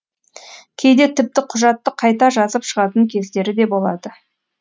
кейде тіпті құжатты қайта жазып шығатын кездері де болады